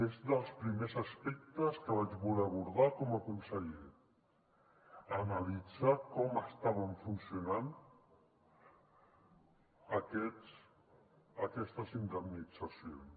és dels primers aspectes que vaig voler abordar com a conseller analitzar com estaven funcionant aquestes indemnitzacions